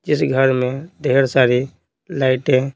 जिस घर में ढेर सारी लाइटें --